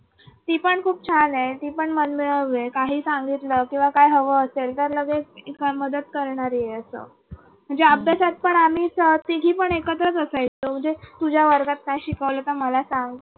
ती पण खूप छान आहे ती पण मनमिळाऊ आहे काही सांगितलं किंवा काही हवं असेल तर लगेच करणारी आहे असं म्हणजे अभ्यासात पण आम्ही अह तीघी पण एकत्र असायचो म्हणजे तुझ्या वर्गात काय शिकवले मला सांग.